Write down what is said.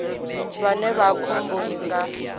vhane vha vha khomboni nga